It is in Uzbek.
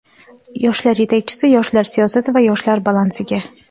yoshlar yetakchisi yoshlar siyosati va yoshlar balansiga;.